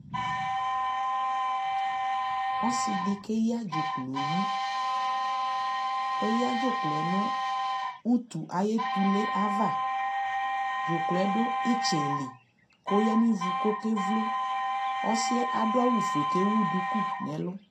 Ɔsi di keya dzʋklɔ yi Eya dzʋklɔ nʋ utu ayɛ tule ava Dzuklɔ dʋ itsɛ li kʋ oya ni vu kʋ okevlo Ɔsi ɛ adu awʋ fue kʋ ewu duku n'ɛlʋ